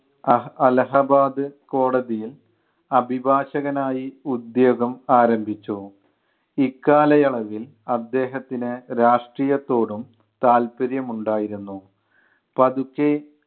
അ അലഹബാദ് കോടതിയിൽ അഭിഭാഷകനായി ഉദ്യോഗം ആരംഭിച്ചു. ഇക്കാലയളവിൽ അദ്ദേഹത്തിന് രാഷ്ട്രീയത്തോടും താല്പര്യം ഉണ്ടായിരുന്നു. പതുക്കെ